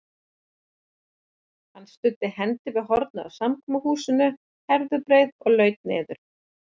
Hann studdi hendi við hornið á samkomuhúsinu Herðubreið og laut niður.